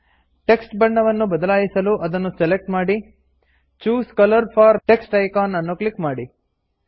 text ಬಣ್ಣವನ್ನು ಬದಲಾಯಿಸಲು ಅದನ್ನು ಸೆಲೆಕ್ಟ್ ಮಾಡಿ choose colour for text icon ಅನ್ನು ಕ್ಲಿಕ್ ಮಾಡಿ